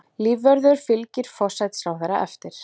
Lífvörður fylgir forsætisráðherra eftir